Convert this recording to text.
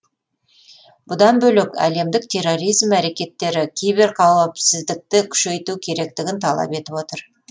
бұдан бөлек әлемдік терроризм әрекеттері киберқауіпсіздікті күшейту керектігін талап етіп отыр